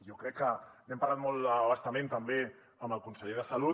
jo crec que n’hem parlat molt a bastament també amb el conseller de salut